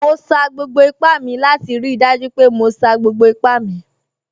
Mo sa gbogbo ipá mi láti rí i dájú pé mo sa gbogbo ipá mi